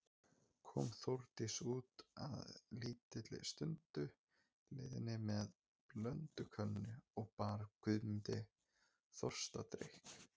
Kom Þórdís út að lítilli stundu liðinni með blöndukönnu og bar Guðmundi þorstadrykk.